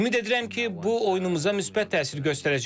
Ümid edirəm ki, bu oyunumuza müsbət təsir göstərəcək.